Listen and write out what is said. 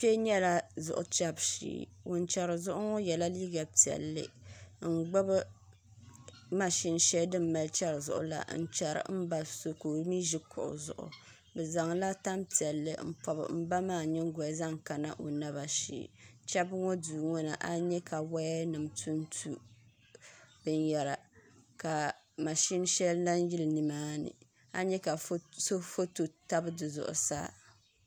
Kpɛ ŋo nyɛla zuɣu chɛbu shee ŋun chɛri zuɣu ŋo yɛla liiga piɛlli n gbubi mashin shɛli bi ni mali chɛri zuɣu maa n chɛri n ba so ka o mii ʒi kuɣu zuɣu bi zaŋla tanpiɛlli n pobi n ba maa nyingoli zaŋ kana o naba shee chɛbu ŋo duu ŋo ni a ni nyɛ ka woya nim tuntu binyɛra ka mashin shɛli lahi yili nimaani ani nyɛ ka so foto tabi di zuɣusaa